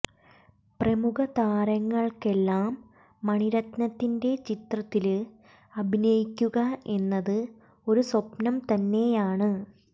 പ്രമുഖ താരങ്ങള്ക്കെല്ലാം മണിരത്നത്തിന്റെ ചിത്രത്തില് അഭിനയിക്കുക എന്നത് ഒരു സ്വപ്നം തന്നെയാണ്